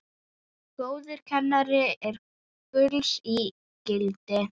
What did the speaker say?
Góður kennari er gulls ígildi.